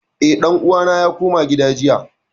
Eh, ɗan uwana ya koma gida jiya